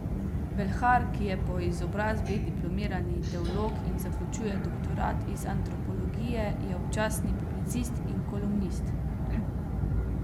Belhar, ki je po izobrazbi diplomirani teolog in zaključuje doktorat iz antropologije, je občasni publicist in kolumnist.